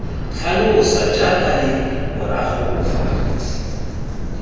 tlhalosa jaaka leng morago fa